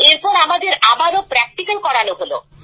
এরপর আমাদের আবারও প্র্যাক্টিক্যাল করানো হলো